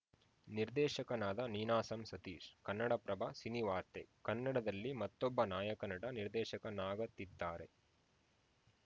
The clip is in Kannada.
ನಿರ್ದೇಶಕನಾದ ನೀನಾಸಂ ಸತೀಶ್‌ ಕನ್ನಡಪ್ರಭ ಸಿನಿವಾರ್ತೆ ಕನ್ನಡದಲ್ಲಿ ಮತ್ತೊಬ್ಬ ನಾಯಕ ನಟ ನಿರ್ದೇಶಕನಾಗತ್ತಿದ್ದಾರೆ